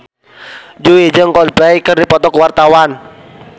Jui jeung Coldplay keur dipoto ku wartawan